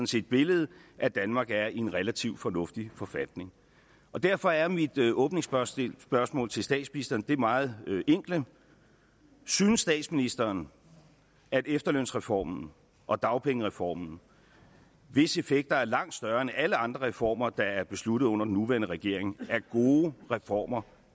set billedet at danmark er i en relativt fornuftig forfatning derfor er mit åbningsspørgsmål til statsministeren det meget enkle synes statsministeren at efterlønsreformen og dagpengereformen hvis effekter er langt større end alle andre reformer der er besluttet under den nuværende regering er gode reformer